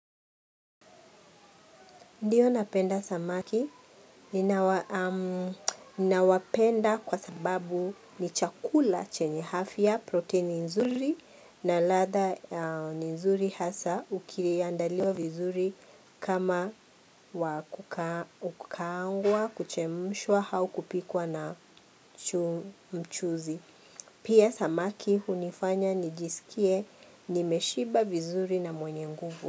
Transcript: Ndiyo napenda samaki, ninawapenda kwa sababu ni chakula chenye afya ya proteini nzuri na ladha nzuri hasa ukiandaliwa vizuri kama wa kukaangwa kuchemshwa au kupikwa na mchuzi. Pia samaki hunifanya nijisikie nimeshiba vizuri na mwenye nguvu.